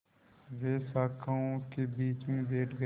वे शाखाओं के बीच में बैठ गए